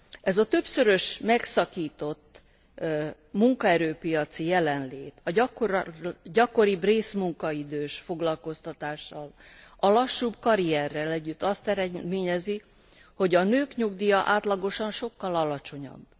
Ez a többszörösen megszakított munkaerőpiaci jelenlét a gyakoribb részmunkaidős foglalkoztatással, a lassúbb karierrel együtt azt eredményezi, hogy a nők nyugdíja átlagosan sokkal alacsonyabb.